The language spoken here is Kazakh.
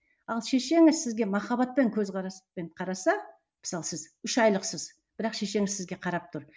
ал шешеңіз сізге махаббатпен көзқарастықпен қараса мысалы сіз үш айлықсыз бірақ шешеңіз сізге қарап тұр